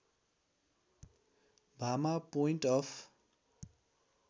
Bhama point of